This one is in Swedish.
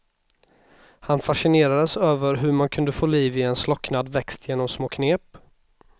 Han fascinerades över hur man kunde få liv i en slocknad växt genom små knep.